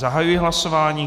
Zahajuji hlasování.